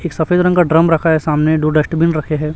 एक सफेद रंग का ड्रम रखा है सामने दो डस्टबिन रखे हैं।